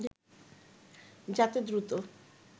যাতে দ্রুত